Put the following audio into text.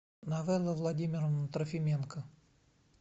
новелла владимировна трофименко